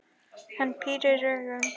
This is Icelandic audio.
Hann pírir augun.